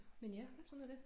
Men ja sådan er det